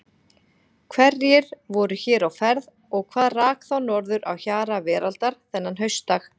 Hverjir voru hér á ferð og hvað rak þá norður á hjara veraldar þennan haustdag?